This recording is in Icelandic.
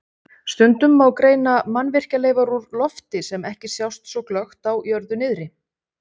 Stundum má greina mannvirkjaleifar úr lofti sem ekki sjást svo glöggt á jörðu niðri.